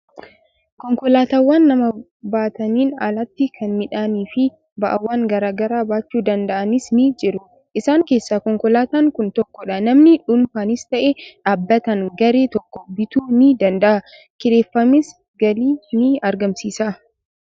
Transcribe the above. Konkolaataawwan nama baataniin alatti kan midhaanii fi ba'aawwan garaa garaa baachuu danda'abis ni jiru. Isaan keessaa konkolaatan kun tokkodha. Namni dhuunfaanis ta'e, dhaabbatni garee tokko bituu ni danda'a. Kireeffamees galii ni argamsiisa.